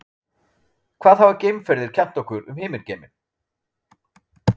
hvað hafa geimferðir kennt okkur um himingeiminn